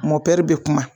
Mɔpiti bɛ kuma